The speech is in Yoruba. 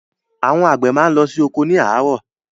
Àwọn àgbẹ máa n lọ sí oko ni àárọ̀.